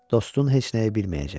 Dostun heç nəyi bilməyəcək.